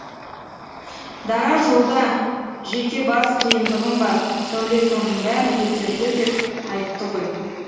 дара жолда жеке бас қиындығым бар сәуле соның бәрін көтерді деп айтты ғой